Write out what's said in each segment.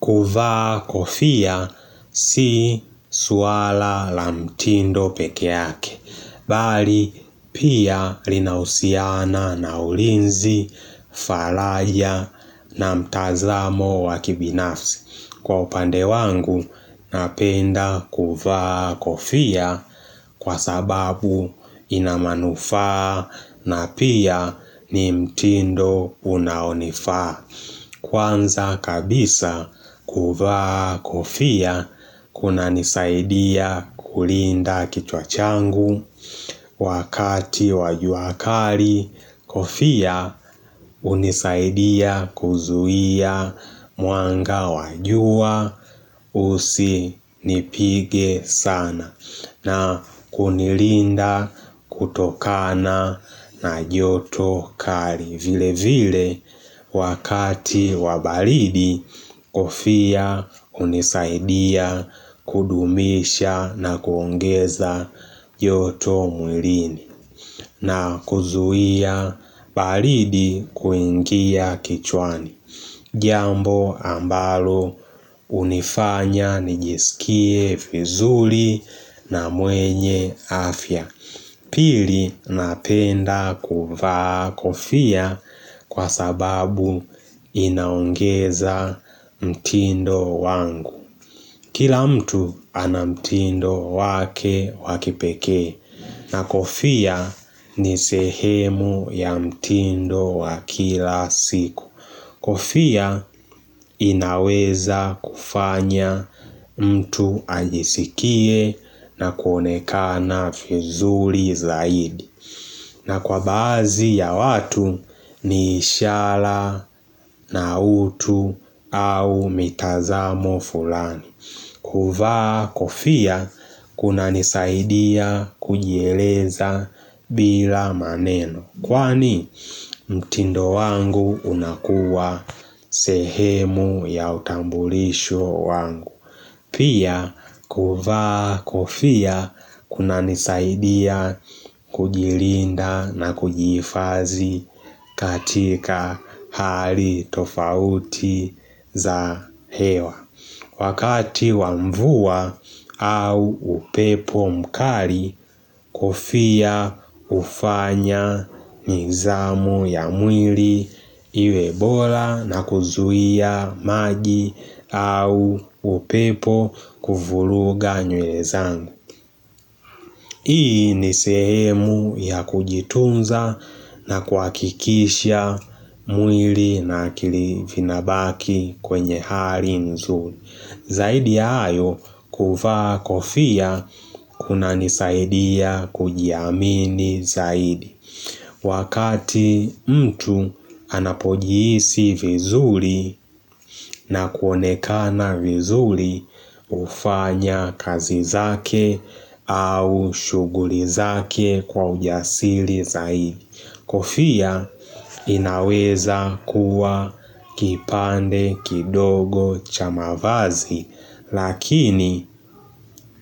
Kuvaa kofia si swala la mtindo peke yake, bali pia linahusiana na ulinzi, falaya na mtazamo wa kibinafsi. Kwa upande wangu, napenda kuvaa kofia kwa sababu ina manufaa na pia ni mtindo unaonifaa. Kwanza kabisa kuvaa kofia kunanisaidia kulinda kichwa changu wakati wa jua kali kofia hunisaidia kuzuia mwanga wa jua usinipige sana na kunilinda kutokana na joto kali vile vile wakati wa baridi kofia hunisaidia kudumisha na kuongeza joto mwilini na kuzuia baridi kuingia kichwani. Jambo ambalo hunifanya nijisikie vizuri na mwenye afya Pili napenda kuvaa kofia kwa sababu inaongeza mtindo wangu Kila mtu ana mtindo wake waki pekee na kofia ni sehemu ya mtindo wa kila siku Kofia inaweza kufanya mtu ajisikie na kuonekana vizuri zaidi. Na kwa baadhi ya watu ni ishara na utu au mitazamo fulani. Kuvaa kofia kunanisaidia kujieleza bila maneno. Kwani mtindo wangu unakuwa sehemu ya utambulisho wangu. Pia kuvaa kofia kunanisaidia kujilinda na kujihifadhi katika hali tofauti za hewa. Wakati wa mvua au upepo mkali kofia hufanya nizamu ya mwili iwe bora na kuzuia maji au upepo kuvuruga nywele zangu Hii ni sehemu ya kujitunza na kuhakikisha mwili na kilivinabaki kwenye hari nzuri Zaidi ya hayo kuvaa kofia kunanisaidia kujiamini zaidi. Wakati mtu anapojihisi vizuri na kuonekana vizuri hufanya kazi zake au shughuli zake kwa ujasili zaidi. Kofia inaweza kuwa kipande kidogo cha mavazi lakini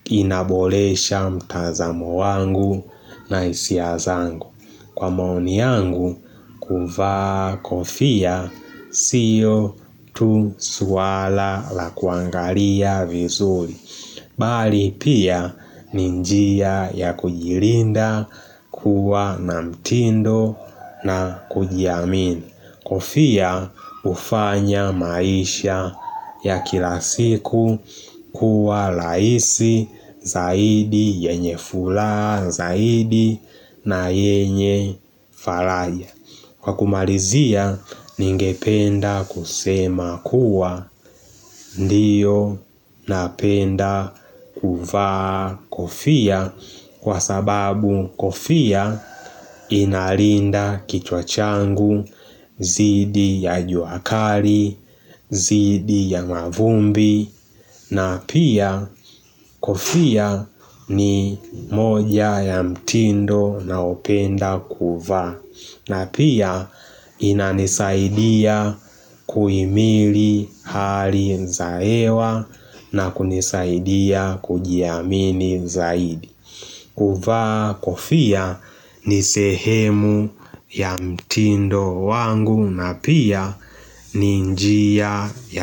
inaboresha mtazamo wangu na hisia zangu. Kwa maoni yangu kuvaa kofia sio tu swala la kuangalia vizuri. Bali pia ni njia ya kujilinda kuwa na mtindo na kujiamini Kofia hufanya maisha ya kila siku kuwa rahisi zaidi yenye furaha zaidi na yenye faraja Kwa kumalizia, ningependa kusema kuwa ndiyo napenda kuvaa kofia kwa sababu kofia inalinda kichwa changu, dhidi ya jua kali, dhidi ya mavumbi na pia kofia ni moja ya mtindo naopenda kuvaa na pia inanisaidia kuimili hali za hewa na kunisaidia kujiamini zaidi kuvaa kofia ni sehemu ya mtindo wangu na pia ni njia ya mtindo.